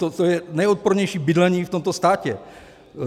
To je nejodpornější bydlení v tomto státě.